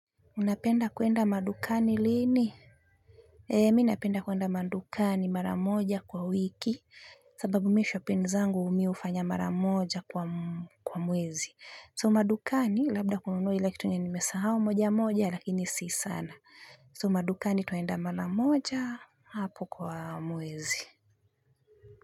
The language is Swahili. Unapenda kuenda madukani lini? Ee mi napenda kuenda madukani mara moja kwa wiki sababu mimi shopping zangu mi hufanya mara moja kwa mwezi. So madukani labda kununua ile kitu enye nimesahau moja moja lakini si sana. So madukani twaenda mara moja hapo kwa mwezi.